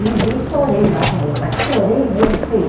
E um dia eu estourei lá com ele, mas estourei mesmo feio.